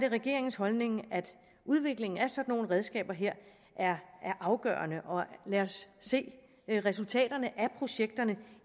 regeringens holdning at udviklingen af sådan nogle redskaber her er afgørende og lad os se resultaterne af projekterne